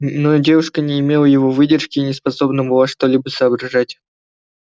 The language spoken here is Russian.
но девушка не имела его выдержки и не способна была что-либо соображать